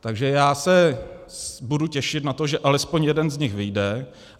Takže já se budu těšit na to, že alespoň jeden z nich vyjde.